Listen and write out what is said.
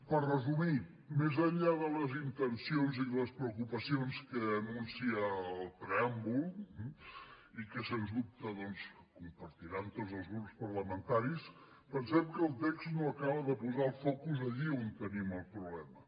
per resumir més enllà de les intencions i de les preocupacions que anuncia el preàmbul eh i que sens dubte doncs compartiran tots els grups parlamentaris pensem que el text no acaba de posar el focus allí on tenim el problema